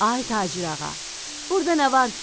Ay tacirağa, burda nə var ki?